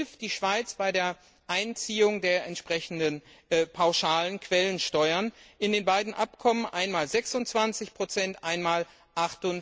Dafür hilft die Schweiz bei der Einziehung der entsprechenden pauschalen Quellensteuern in den beiden Abkommen jeweils 26 bzw.